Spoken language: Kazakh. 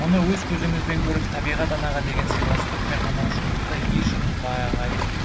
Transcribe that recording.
мұны өз көзіңізібен көріп табиғат анаға деген сыйластық пен қамқорлықты еш ұмытпағайсыз